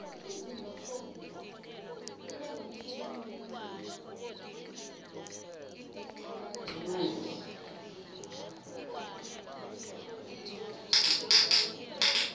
izinephobtiya ibe nomthelelo omumbi enxha kazinile